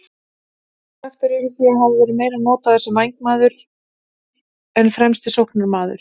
Ertu svekktur yfir því að hafa verið meira notaður sem vængmaður en fremsti sóknarmaður?